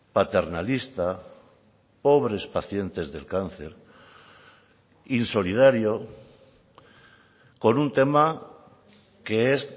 paternalista pobres pacientes del cáncer insolidario con un tema que es